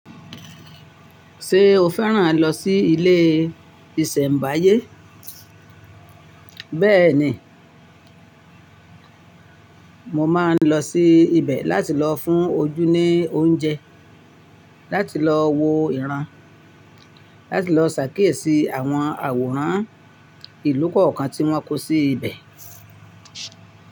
Ṣé o fẹ́ràn lọ sí ilé ìṣẹ̀mbáyé? Bẹ́ẹ̀ni. Mo máa ń lọ sí ibẹ̀ láti lọ fún ojú ní oúnjẹ, láti lọ wo ìran, láti lọ ṣàkíyèsí àwọn àwòrán ìlú kọ̀ọ̀kan tí wọ́n kó sí ibẹ̀.